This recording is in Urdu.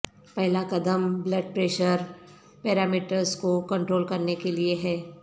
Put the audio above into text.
پہلا قدم بلڈ پریشر پیرامیٹرز کو کنٹرول کرنے کے لئے ہے